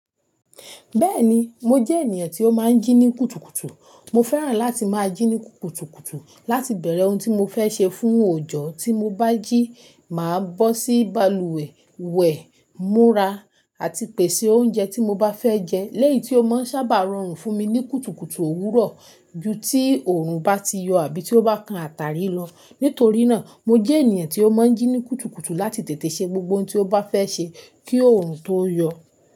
Bẹ́ẹ̀ni, mo jẹ́ ènìyàn tí ó máa ń jí ní kùtùkùtù. Mo fẹ́ràn láti máa jí ní kùtùkùtù láti bẹ̀rẹ̀ ohun tí mo fẹ́ ṣe fún òòjọ́. Tí mo bá jí, màá bó sí balùwẹ̀, wẹ̀, múra àti pèsè oúnjẹ tí mo bá fẹ́ jẹ lẹ́yi tí ó máa ń sábà rọrùn fún mi ní kùtùkùtù òwúrọ̀ ju tí òòrùn bá ti yọ àbí tí ó bá kan àtàrí lọ. Nítorí náà, mo jẹ́ ènìyàn tí ó máa ń jí ní kùtùkùtù láti tètè ṣe gbogbo ohun tí ó bá fẹ́ ṣe kí òòrùn tó yọ.